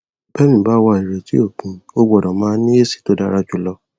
bẹmìí bá wà ìrètí ò pin o gbọdọ máa ní èsì tó dára jùlọ